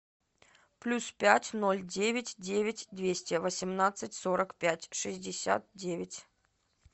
плюс пять ноль девять девять двести восемнадцать сорок пять шестьдесят девять